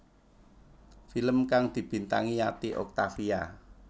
Film kang dibintangi Yati Octavia